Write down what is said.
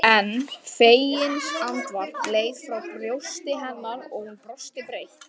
En feginsandvarp leið frá brjósti hennar og hún brosti breitt.